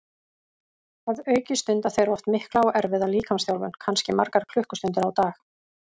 Að auki stunda þeir oft mikla og erfiða líkamsþjálfun, kannski margar klukkustundir á dag.